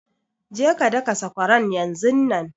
Je ka daka sakwaran yanzunnan!